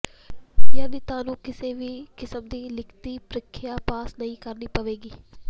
ਯਾਨੀ ਤੁਹਾਨੂੰ ਕਿਸੇ ਵੀ ਕਿਸਮ ਦੀ ਲਿਖਤੀ ਪ੍ਰੀਖਿਆ ਪਾਸ ਨਹੀਂ ਕਰਨੀ ਪਏਗੀ